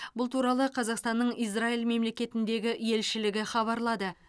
бұл туралы қазақстанның израиль мемлекетіндегі елшілігі хабарлады